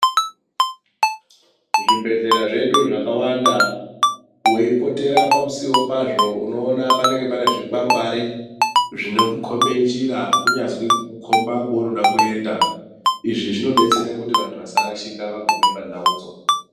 Zvibhedhlera zvedu zvakawanda, weipotera pamusiwo pazvo, unoona panenge pane zvikwangwari, zvinokukhombe njira kunyazi, kukukhomba kweunoda kuenda. Izvi zvinodetsere kuti vantu vasarashika vagume pandaudzo.